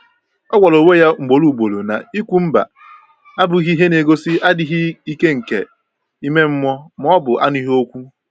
Ọ gwara onwe ya ugboro ugboro na ikwu “mba” abụghị ihe na-egosi adịghị ike nke ime mmụọ ma ọ bụ anụghị okwu.